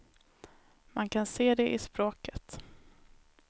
Man kan se det i språket.